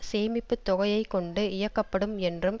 சேமிப்பு தொகையை கொண்டு இயக்கப்படும் என்றும்